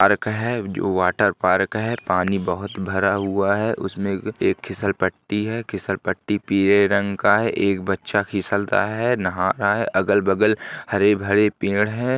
Park है जो water park है पानी बहोत भरा हुआ है उसमे ए एक खिसलपटी है खिसलपटी पीले रंग का है एक बच्चा फिसलता है नहा रहा है अगल बगल हरे भरे पेड़ हैं।